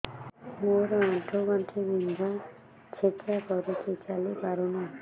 ମୋର ଆଣ୍ଠୁ ଗଣ୍ଠି ବିନ୍ଧା ଛେଚା କରୁଛି ଚାଲି ପାରୁନି